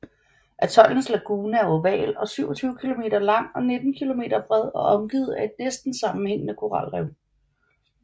Atollens lagune er oval og 27 km lang og 19 km bred og omgivet af et næsten sammenhængende koralrev